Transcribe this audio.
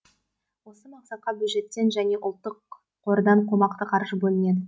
осы мақсатқа бюджеттен және ұлттық қордан қомақты қаржы бөлінеді